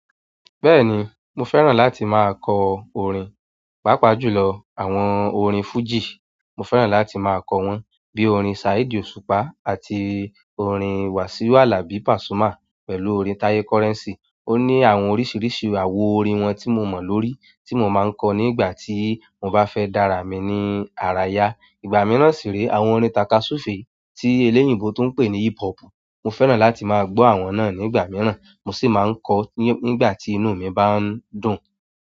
Bẹ́ẹ̀ni, mo fẹ́ràn láti máa kọ orin, pàápàá jùlọ àwọn orin fújì. Mo fẹ́ràn láti maa ko won bi orin Saheed Osupa àti orin Wasiu Alabi Pasuma, pẹ̀lú orin Taye Currency. Ó ní àwọn oríṣiríṣi àwo orin wọn tí mo mọ̀ lórí tí mo máa ń kọ nígbà tí mo bá fẹ́ dára mi ní ara ya. Ìgbà mìíràn sì re àwọn orin takasufe tí eléyníbo tún ń pè ní hip hop. Mo fẹ́ràn láti máa gbọ́ àwọn náà nígbà mìíràn. Mo sì máa ń kọ nígbà tí inú mi bá ń dùn.